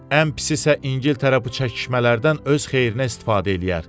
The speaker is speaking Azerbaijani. Ən pisi isə İngiltərə bu çəkişmələrdən öz xeyrinə istifadə eləyər.